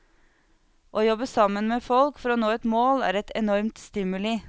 Å jobbe sammen med folk for å nå et mål er et enormt stimuli.